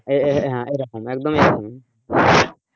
হ্যাঁ এইরকম, একদমই এরকম,